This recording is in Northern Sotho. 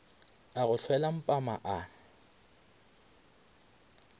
a go hlwela mpampa a